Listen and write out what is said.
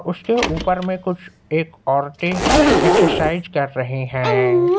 उसके ऊपर में कुछ एक औरतें एक्सरसाइज कर रही हैं।